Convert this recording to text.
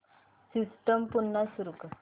system पुन्हा सुरू कर